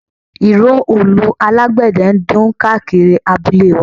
Ìró òòlù alágbẹ̀dẹ ń dún káàkiri abúlé wa